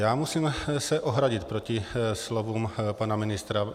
Já se musím ohradit proti slovům pana ministra.